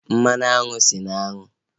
Mmanụ aṅụ esi n'aṅu?